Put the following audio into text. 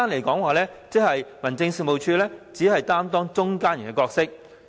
簡單而言，民政事務總署只擔當中間人的角色。